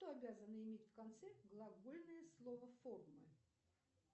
что обязано иметь в конце глагольное слово формы